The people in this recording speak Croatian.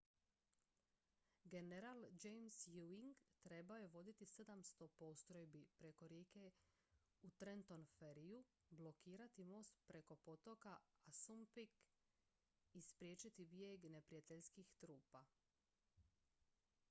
general james ewing trebao je voditi 700 postrojbi preko rijeke u trenton ferryju blokirati most preko potoka assunpink i spriječiti bijeg neprijateljskih trupa